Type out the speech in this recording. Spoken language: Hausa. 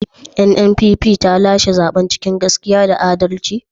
NNPP ta lashe zaben cikin gaskiya da adalci?